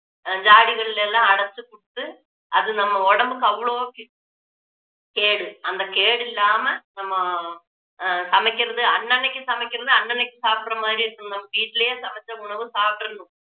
அஹ் ஜாடிகளில எல்லாம் அடைச்சு கொடுத்து அது நம்ம உடம்புக்கு அவ்ளோ கே~ கேடு அந்த கேடு இல்லாம நம்ம ஆஹ் சமைக்கிறது அன்னன்னைக்கு சமைக்கிறது அன்னன்னைக்கு சாப்பிடற மாதிரி இருக்கணும் நம்ம வீட்டிலேயே சமைச்ச உணவு சாப்பிட்டுறணும்